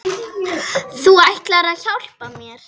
Þú ætlaðir að hjálpa mér.